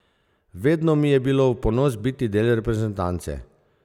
Vedno mi je bilo v ponos biti del reprezentance.